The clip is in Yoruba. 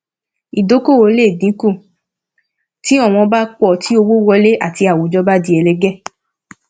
ìdókòwò le dín kù tí ọwọn pọ tí owó wọlé àti àwùjọ bá di ẹlẹgẹ